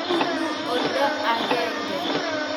Kibunnu oldo agenge